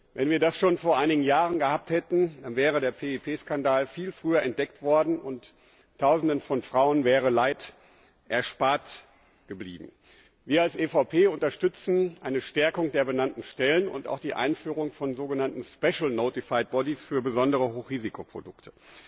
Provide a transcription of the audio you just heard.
Wenn wir das schon vor einigen Jahren gehabt hätten, wäre der PIP Skandal viel früher entdeckt worden, und Tausenden von Frauen wäre Leid erspart geblieben. Wir als EVP unterstützen eine Stärkung der benannten Stellen und auch die Einführung von sogenannten special notified bodies für besondere Hochrisikoprodukte.